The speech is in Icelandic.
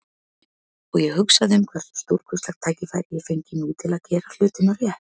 Og ég hugsaði um hversu stórkostlegt tækifæri ég fengi nú til að gera hlutina rétt.